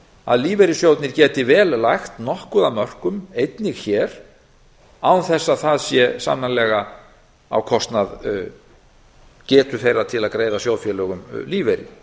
að lífeyrissjóðirnir geti vel lagt nokkuð af mörkum einnig hér án þess að það sé sannarlega á kostnað getu þeirra til að greiða sjóðfélögum lífeyri